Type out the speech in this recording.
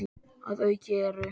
Að auki eru